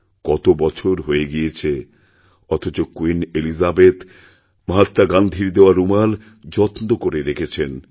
কত বছর হয়ে গিয়েছে অথচ ক্যুইন এলিজাবেথ মহাত্মা গান্ধীর দেওয়া রুমাল যত্ন করেরেখেছেন